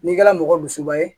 N'i kɛra mɔgɔ dusuba ye